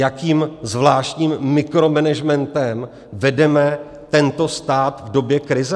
Jakým zvláštním mikromenežmentem vedeme tento stát v době krize?